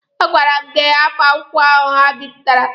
A gwara m gị hapụ akwụkwọ ahụ ha bipụtara!